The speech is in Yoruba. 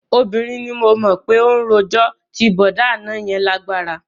Obìnrin ni mo mọ̀ pé ó rojọ́, ti bọ̀dá àná yẹn lágbára